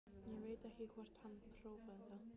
Ég veit ekki hvort hann prófaði það.